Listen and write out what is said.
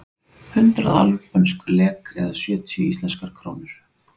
Hundrað albönsk lek eða sjötíu íslenskar krónur.